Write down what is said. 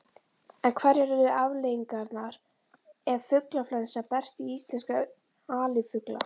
En hverjar yrðu afleiðingarnar ef fuglaflensa berst í íslenska alifugla?